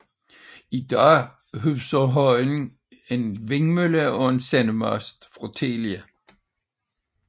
I dag huser højen en vindmølle og en sendemast fra Telia